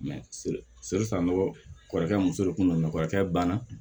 kɔrɔkɛ muso de kun don kɔrɔkɛ banna